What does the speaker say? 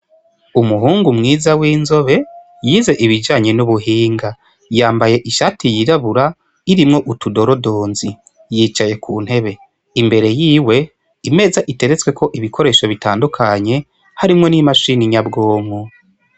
Umuhungu mwiza w'inzobe yize ibijanye n'ubuhinga yambaye ishati yirabura irimwo utudorodonzi yicaye ku ntebe imbere yiwe imeza iteretswe ko ibikoresho bitandukanye harimwo n'imashini nyabwonku.